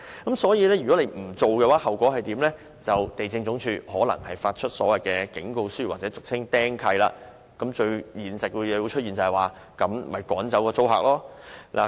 如果不依照程序申請，地政總署可能會發出警告書或使物業被"釘契"，最後的現實是業主會趕走租客。